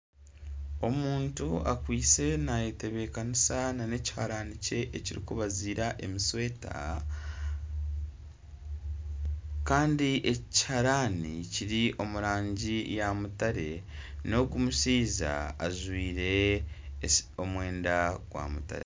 Omuntu akwitse nayetebekanisa nana ekiharani kye ekirikubazira emishweta Kandi eki ekiharani kiri omu rangi ya mutare nogu omushaija ajwaire omwenda gwa mutare.